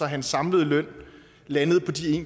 hans samlede løn landede på de